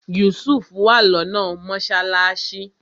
Yusuf wà lọ́nà mọ́sálásí